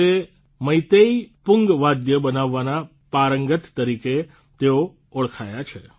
તે મૈતેઇ પુંગ વાદ્ય બનાવવાના પારંગત તરીકે તેઓ ઓળખયા છે